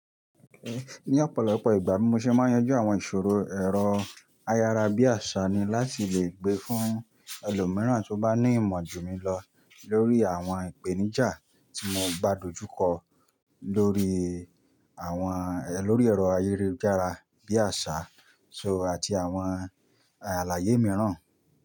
Ní ọ̀pọ̀lọpọ̀ ìgbà, bimo ṣe máa yanjú àwọn ìṣòro ẹ̀rọ ayárabíàṣá ni láti lè gbé fún ẹlòmíràn tó bá ní ìmọ̀ jù mí lọ lórí àwọn ìpèníjà tí mo bádojúkọ lórí àwọn, lórí ẹ̀rọ ayélujára bí àsá "so" àti àwọn àlàyé mìíràn.